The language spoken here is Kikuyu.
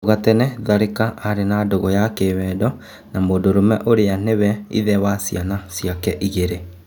Hau tene Tharĩ ka arĩ na ndũgũ ya kĩ wendo na mũndũrũme ũrĩ a nĩ we ithe wa ciana ciake igĩ rĩ .